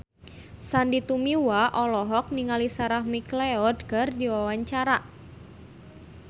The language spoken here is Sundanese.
Sandy Tumiwa olohok ningali Sarah McLeod keur diwawancara